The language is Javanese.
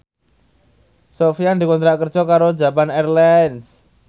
Sofyan dikontrak kerja karo Japan Airlines